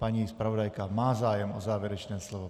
Paní zpravodajka má zájem o závěrečné slovo.